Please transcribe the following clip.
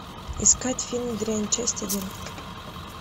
искать фильм дрянь часть один